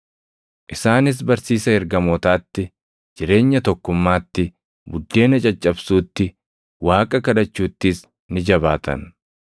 Isaanis barsiisa ergamootaatti, jireenya tokkummaatti, buddeena caccabsuutti, Waaqa kadhachuuttis ni jabaatan.